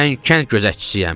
Mən kənd gözətçisiyəm.